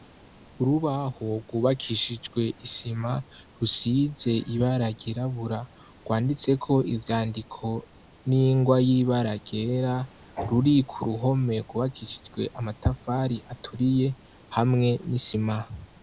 Urubahogubakishijwe isima rusize ibaragirabura rwanditseko ivyandiko n'ingwa yibaragera ruriku ruhome gubakishijwe amatafari aturiye hamwe n'isimaha.